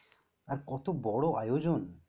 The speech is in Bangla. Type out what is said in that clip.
আর কত বড় আয়োজন?